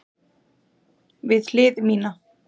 Við hlið mína.